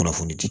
Kunnafoni di